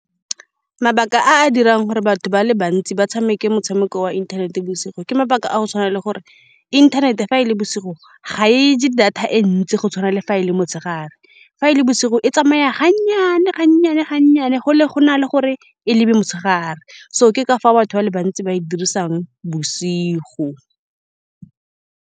Mabaka a a dirang gore batho ba le bantsi ba tshameke motshameko wa inthanete bosigo ke mabaka a go tshwana le gore inthanete fa e le bosigo ga e je data e ntsi go tshwana le fa e le motshegare. Fa e le bosigo, e tsamaya ga nnyane, ga nnyane, ga nnyane, go le go na le gore e le be motshegare. So ke ka fa batho ba le bantsi ba e dirisang bosigo.